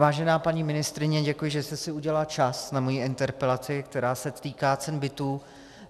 Vážená paní ministryně, děkuji, že jste si udělala čas na moji interpelaci, která se týká cen bytů.